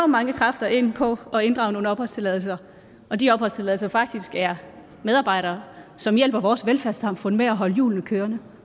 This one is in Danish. mange kræfter ind på at inddrage nogle opholdstilladelser og de opholdstilladelser faktisk er medarbejdere som hjælper vores velfærdssamfund med at holde hjulene kørende